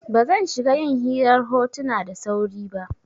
Ba zan shiga yin hirar hotuna da sauri ba.